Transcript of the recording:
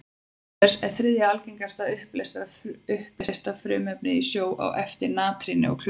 Auk þess er það þriðja algengasta uppleysta frumefnið í sjó, á eftir natríni og klóri.